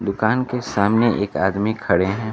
दुकान के सामने एक आदमी खड़े हैं।